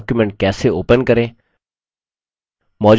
calc में नया document कैसे open करें